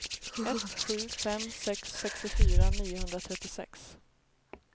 ett sju fem sex sextiofyra niohundratrettiosex